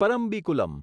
Parambikulam